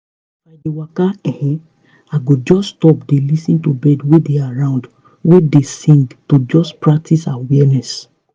if i dey waka um i go just stop dey lis ten to birds wey dey around wey dey sing to just practice awareness